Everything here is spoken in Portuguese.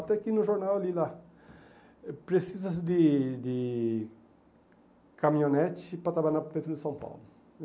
Até que no jornal eu li lá, precisa-se de de caminhonete para trabalhar na prefeitura de São Paulo.